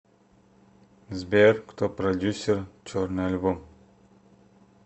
сбер кто продюссер черный альбом